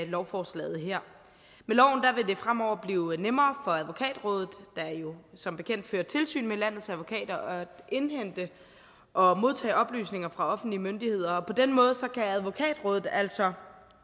lovforslaget her med loven vil det fremover blive nemmere for advokatrådet der jo som bekendt fører tilsyn med landets advokater at indhente og modtage oplysninger fra offentlige myndigheder og på den måde kan advokatrådet altså